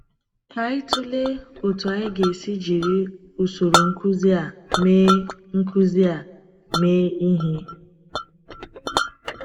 Ka anyị tụlee otú anyị ga-esi jiri usoro nkuzi a mee nkuzi a mee ihe.